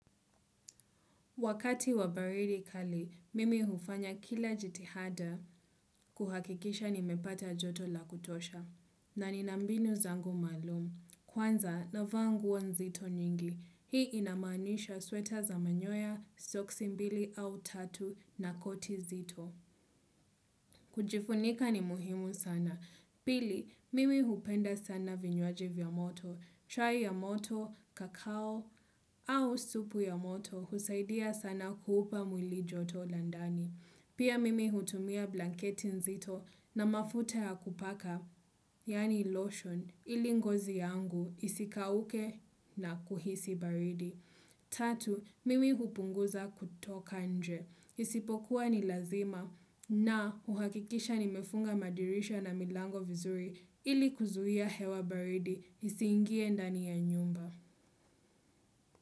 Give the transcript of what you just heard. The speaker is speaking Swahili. Wakati wa baridi kali, mimi hufanya kila jitihada kuhakikisha nimepata joto la kutosha. Na nina mbinu zangu maalum. Kwanza, navaa nguo nzito nyingi. Hii inamanisha sweta za manyoya, soksi mbili au tatu na koti zito. Kujifunika ni muhimu sana. Pili, mimi hupenda sana vinywaji vya joto. Chai ya moto, kakao au supu ya moto husaidia sana kuupa mwili joto la ndani. Pia mimi hutumia blanketi nzito na mafuta ya kupaka, yaani lotion, ili ngozi yangu isikauke na kuhisi baridi. Tatu, mimi hupunguza kutoka nje. Isipokuwa ni lazima na kuhakikisha nimefunga madirisha na milango vizuri ili kuzuia hewa baridi. Isiingie ndani ya nyumba.